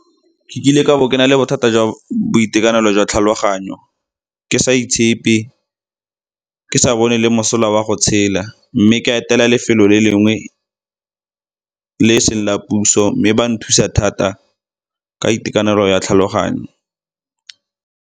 Ke kile ka bo ke na le bothata jwa boitekanelo jwa tlhaloganyo, ke sa itshepe, ke sa bone le mosola wa go tshela mme ka etela lefelo le lengwe le e seng la puso mme ba nthusa thata ka itekanelo ya tlhaloganyo.